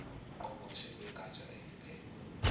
ngqongqoshe wegatsha eliphethe